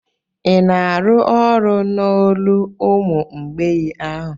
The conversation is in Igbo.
Ị na-arụ ọrụ n'olo ụmụ mgbei ahụ?